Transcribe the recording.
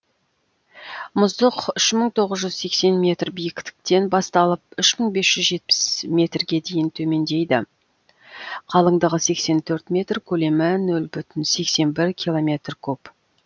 мұздық үш мың тоғыз жүз сексен метр биіктіктен басталып үш мың бес жүз жетпіс метрге дейін төмендейді қалыңдығы сексен төрт метр көлемі нөл бүтін сексен бір километр куб